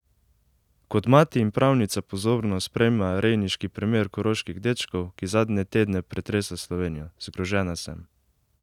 Kot mati in pravnica pozorno spremlja rejniški primer koroških dečkov, ki zadnje tedne pretresa Slovenijo: "Zgrožena sem.